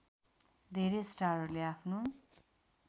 धेरै स्टारहरूले आफ्नो